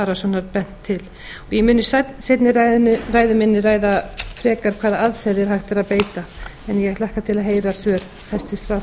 arasonar bent til ég mun í seinni ræðu minni ræða frekar hvaða aðferðum hægt er að beita en ég hlakka til að